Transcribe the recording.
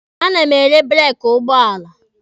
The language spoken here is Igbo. A na m ere breeki ụgbọala.